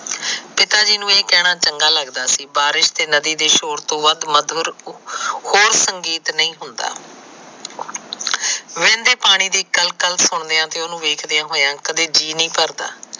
ਪਿਤਾ ਜੀ ਨੂੰ ਇਹ ਕਹਿਣਾ ਚੰਗਾ ਲੱਗਦਾ ਸੀ ਬਾਰਿਸ਼ ਦੇ ਨਦੀ ਦੇ ਸ਼ੋਰ ਤੋਂ ਵੱਧ ਹੋਰ ਸੰਗੀਤ ਨਹੀਂ ਹੁੰਦਾ ਵਹਿੰਦੇ ਪਾਣੀ ਦੇ ਕਲ ਕਲ ਸੋਮਿਆ ਤੇ ਉਹਨੂੰ ਵੇਖਦਿਆ ਹੋਇਆ ਕਦੇ ਜੀਆ ਨਹੀ ਭਰਦਾ